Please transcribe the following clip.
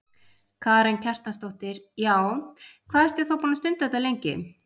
Karen Kjartansdóttir: Já, hvað ertu þá búin að stunda þetta lengi?